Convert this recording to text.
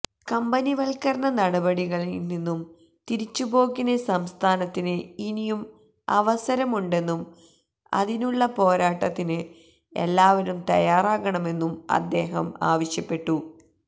company വല്ക്കരണ നടപടികളില് നിന്നും തിരിച്ചു പോക്കിന് സംസ്ഥാനത്തിന് ഇനിയും അവസരമുണ്ടെന്നും അതിനുള്ള പോരാട്ടത്തിന് എല്ലാവരും തയ്യാറാകണമെന്നും അദ്ദേഹം ആവശ്യപ്പെട്ടു